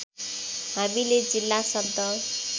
हामीले जिल्ला शब्द